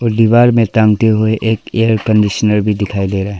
दीवार में टांगते हुए एक एयर कंडीशनर भी दिखाई दे रहा है।